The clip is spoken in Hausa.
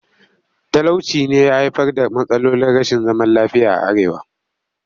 Talauci ne ya haifar da matsalolin rashin zaman lafiya a arewa